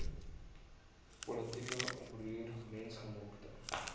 politieke oproer mensgemaakte